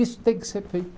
Isso tem que ser feito.